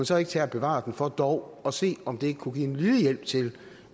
så ikke tage og bevare den for dog at se om det ikke kunne være en lille hjælp til